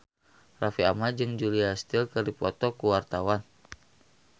Raffi Ahmad jeung Julia Stiles keur dipoto ku wartawan